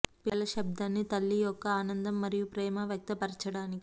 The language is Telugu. పిల్లుల శబ్దాన్ని తల్లి యొక్క ఆనందం మరియు ప్రేమ వ్యక్తపరచటానికి